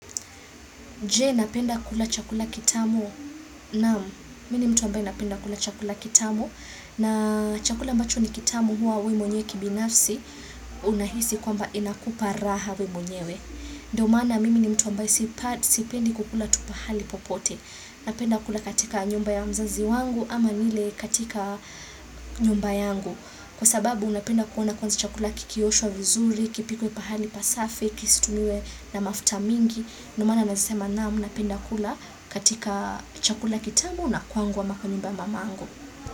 Je, napenda kula chakula kitamu? Naam mimi ni mtu ambaye napenda kula chakula kitamu na chakula ambacho ni kitamu huwa we mwenyewe kibinafsi unahisi kwamba inakupa raha we mwenyewe. Ndo maana mimi ni mtu ambaye sipendi kukula tu pahali popote. Napenda kula katika nyumba ya mzazi wangu ama nile katika nyumba yangu. Kwa sababu napenda kuona kwanza chakula kikioshwa vizuri, kipikwe pahali pasafi, kisitumiwe na mafuta mingi. Ndo maana nasema naam napenda kula katika chakula kitamu na kwangu ama kwa nyumba ya mamangu.